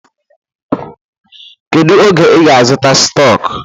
Kedu oge ị ga-azụta stọk?